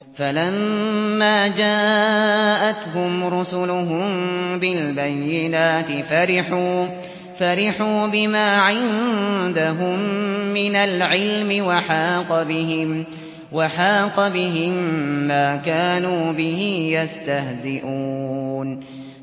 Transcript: فَلَمَّا جَاءَتْهُمْ رُسُلُهُم بِالْبَيِّنَاتِ فَرِحُوا بِمَا عِندَهُم مِّنَ الْعِلْمِ وَحَاقَ بِهِم مَّا كَانُوا بِهِ يَسْتَهْزِئُونَ